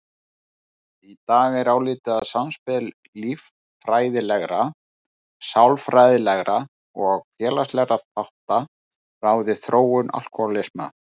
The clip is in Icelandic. Í dag er álitið að samspil líffræðilegra, sálfræðilegra og félagslegra þátta ráði þróun alkóhólisma.